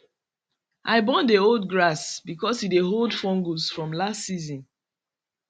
i burn the old grass because e dey hold fungus from last season